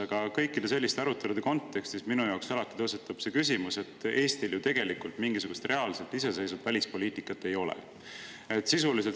Ja kõikide selliste arutelude kontekstis minu jaoks alati tõusetub see, et Eestil ju tegelikult mingisugust reaalset iseseisvat välispoliitikat ei ole.